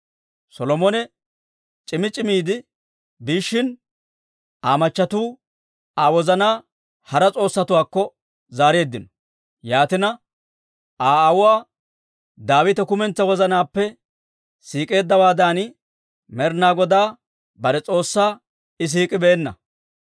Solomone c'imi c'imiide biishshin, Aa machchattiuu Aa wozanaa hara s'oossatuwaakko zaareeddino; yaatina, Aa aawuwaa Daawite kumentsaa wozanaappe siik'eeddawaadan, Med'inaa Godaa bare S'oossaa I siik'ibeenna.